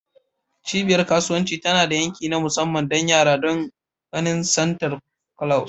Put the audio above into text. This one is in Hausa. Cibiyar kasuwanci tana da yanki na musamman don yara don ganin Santa Claus.